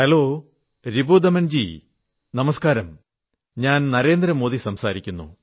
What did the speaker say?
hello Ripudaman ji നമസ്കാരം ഞാൻ നരേന്ദ്ര മോദി സംസാരിക്കുന്നു